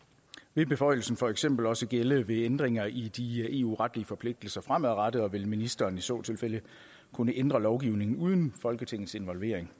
vil beføjelsen for eksempel også gælde ved ændringer i de eu retlige forpligtelser fremadrettet og vil ministeren i så tilfælde kunne ændre lovgivningen uden folketingets involvering